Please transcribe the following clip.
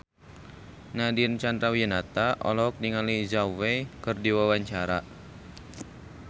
Nadine Chandrawinata olohok ningali Zhao Wei keur diwawancara